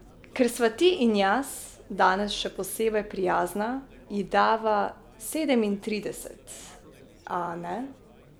Ker sva ti in jaz danes še posebej prijazna, ji dava sedemintrideset, a ne?